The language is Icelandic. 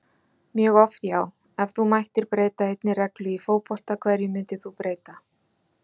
mjög oft já Ef þú mættir breyta einni reglu í fótbolta, hverju myndir þú breyta?